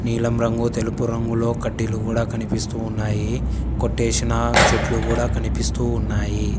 నీలం రంగు తెలుపు రంగులో కడ్డీలు గూడా కనిపిస్తూ ఉన్నాయి. కొట్టేషిన చెట్లు గూడా కనిపిస్తూ ఉన్నాయి.